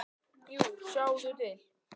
Jú, sjáðu til!